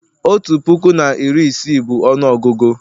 otu puku na iri isii bụ ọnụọgụgụ